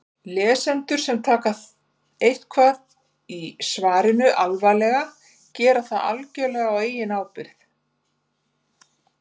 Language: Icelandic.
Lesendur sem taka eitthvað í svarinu alvarlega gera það algjörlega á eigin ábyrgð.